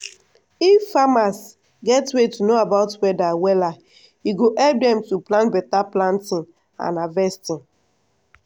if farmers get way to know about weather wella e go help dem to plan beta planting and harvesting.